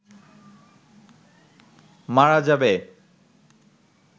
মারা যাবে